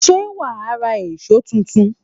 Ṣé wàá ra èṣó tuntun?